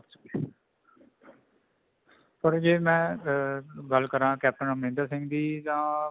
ਪਰ ਜੇ ਮੈਂ ਅਮ ਗੱਲ ਕਰਾਂ ਕੇਪਟਨ ਅਮਰਿੰਦਰ ਸਿੰਘ ਦੀ ਤਾਂ